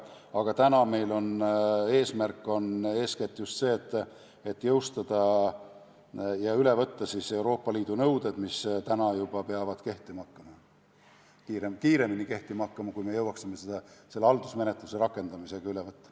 Aga täna on meie eesmärk eeskätt just see, et jõustada ja üle võtta Euroopa Liidu nõuded, mis peavad juba kehtima hakkama, need peavad kiiremini kehtima hakkama, kui me jõuaksime need haldusmenetluse rakendamisega üle võtta.